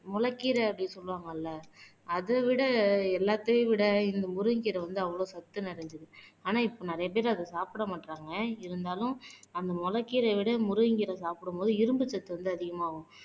முளைக்கீரை அப்படின்னு சொல்லுவாங்கல்ல அத விட எல்லாத்தையும் விட இந்த முருங்கைக்கீரை வந்து அவ்வளவு சத்து நிறைஞ்சது. ஆனா இப்ப நிறைய பேர் அதை சாப்பிட மாட்றாங்க இருந்தாலும் அந்த முளைக்கீரையை விட முருங்கைக்கீரை சாப்பிடும்போது இரும்பு சத்து வந்து அதிகமாகும்.